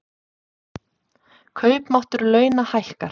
Kaupmáttur launa hækkar